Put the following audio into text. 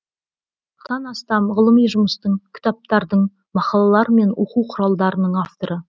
қырықтан астам ғылыми жұмыстың кітаптардың мақалалар мен оқу құралдарының авторы